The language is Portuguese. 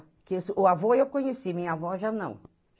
O avô eu conheci, minha avó já não.